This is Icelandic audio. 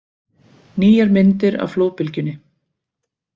Nýjar myndir af flóðbylgjunni